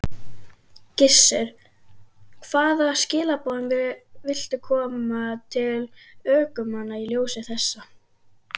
Gissur: Hvaða skilaboðum viltu koma til ökumanna í ljósi þessa?